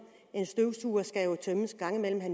en støvsuger skal jo tømmes en gang imellem og